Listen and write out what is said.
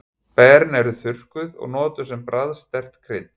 Berin eru þurrkuð og notuð sem bragðsterkt krydd.